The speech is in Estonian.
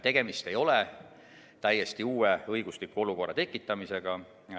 Tegemist ei ole täiesti uue õigusliku olukorra tekitamisega.